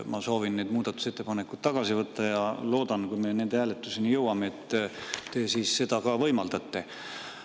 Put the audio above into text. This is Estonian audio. Ma soovin need muudatusettepanekud tagasi võtta ja loodan, et kui me nende hääletuseni jõuame, siis te seda võimaldate.